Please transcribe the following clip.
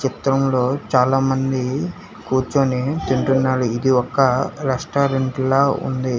చిత్రంలో చాలామంది కుర్చొని ఇది ఒక రెస్టారెంట్ల ఉంది